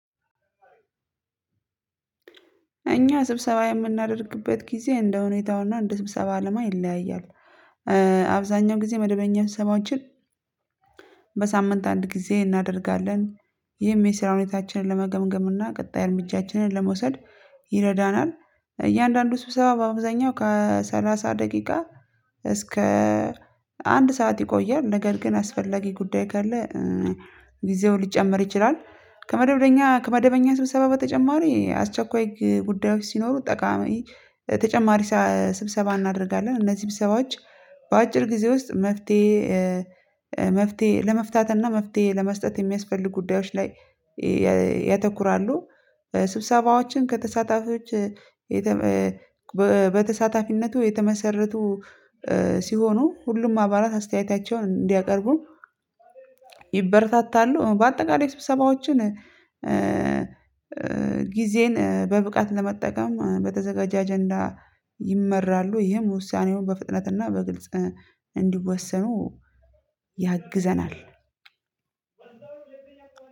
እኛ ስብሰባ የምናደርግበት ጊዜ እንደሁኔታውና እንደስብሰባው አላማ ይለያያል። አብዛኛው ጊዜ መደበኛ ስብሰባዎችን በሳምንት አንድ ጊዜ እናደርጋለን። ይህም የስራ ሁኔታችንን ለመገምገም እና ቀጣይ እርምጃችንን ለመውሰድ ይረዳናል። ስብሰባ በአብዛኛው ከሰላሳ ደቂቃ እስከ አንድ ሰዓት ይቆያል። ነገር ግን አስፈላጊ ጉዳይ ካለ ጊዜው ሊጨመር ይችላል። ከመደበኛ ከመደበኛ ስብሰባ በተጨማሪ አስቸኳይ ጉዳዮች ሲኖሩ ጠቃሚ ተጨማሪ ስብሰባ እናደርጋለን። እነዚህ በሰዎች በአጭር ጊዜ ውስጥ መፍትሄ መፍትሄ ለመፍታት እና መፍትሄ ለመስጠት የሚያስፈልግ ጉዳዮች ላይ ያተኩራሉ። ስብሰባዎችን ከተሳታፊዎች በተሳታፊነቱ የተመሰረቱ ሲሆኑ ሁሉም አባላት አስተያየታቸውን እንዲያቀርቡ ይበረታታሉ። በአጠቃላይ ስብሰባዎችን ጊዜን በብቃት ለመጠቀም በተዘጋጃ አጀንዳ ይመራሉ። ይህም ውሳኔውን በፍጥነትና በግልጽ እንዲወሰኑ ያግዘናል።